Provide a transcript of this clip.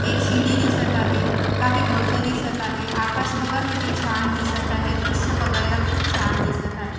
एक शिडी दिसत आहे काही गवत दिसत आहे आकाश बघा किती छान दिसत आहे दृश बघायला खुप छान दिसत आहे.